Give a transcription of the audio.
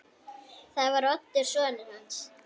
Það var Oddur sonur hans.